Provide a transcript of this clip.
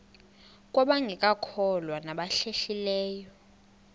kwabangekakholwa nabahlehli leyo